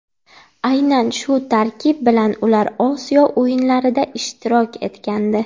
Aynan shu tarkib bilan ular Osiyo o‘yinlarida ishtirok etgandi.